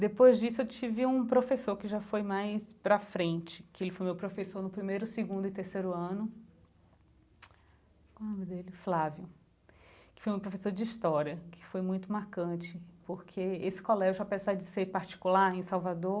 Depois disso eu tive um professor que já foi mais pra frente, que ele foi meu professor no primeiro, segundo e terceiro ano qual é o nome dele, Flávio, que foi meu professor de história, que foi muito marcante, porque esse colégio, apesar de ser particular em Salvador,